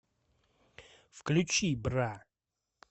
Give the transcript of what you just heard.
включи бра